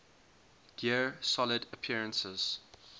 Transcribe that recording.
gear solid appearances